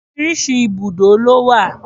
Oríṣiríṣi ibùdó ló wà.